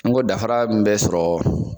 N ko dafara min bɛ sɔrɔ